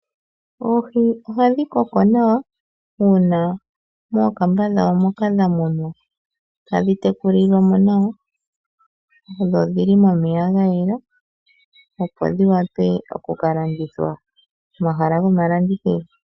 Oohi ohadhi koko nawa uuna mookamba dhawo moka dha munwa tadhi tekulilwa mo nawa, dho odhi li momeya ga yela, opo dhi wape oku ka landithwa komahala gomalandithilo.